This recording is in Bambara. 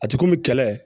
A ti komi kɛlɛ